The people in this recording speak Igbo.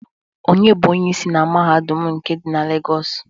Onye bụ Onyeisi na Mahadum nke dị na Legọs?